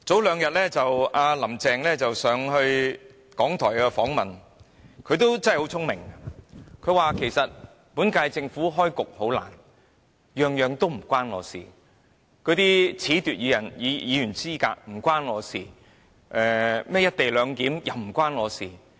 "林鄭"早前到港台接受訪問，她很聰明地說："本屆政府開局甚艱難，每件事都與我無關，包括褫奪議員資格一事與我無關，'一地兩檢'的安排也與我無關"。